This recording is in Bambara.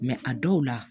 a dɔw la